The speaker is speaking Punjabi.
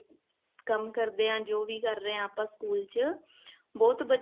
ਕੰਮ ਕਰਦੇ ਆ ਜੋ ਕਰਦੇ ਹਾਂ ਆਪਾਂ ਸਕੂਲ ਚ ਬਹੁਤ